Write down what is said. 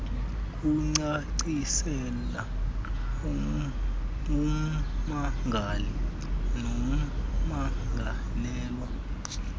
kucacisela ummangali nommangalelwa